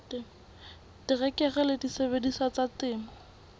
terekere le disebediswa tsa temo